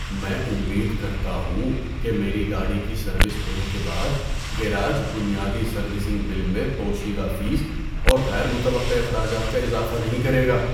میں امید کرتا ہوں کہ میری گاڑی کی سروس ہونے کے بعد گیراج بنیادی سروسنگ بل میں پوشیدہ فیس اور غیر متوقع اخراجات کا اضافہ نہیں کرے گا۔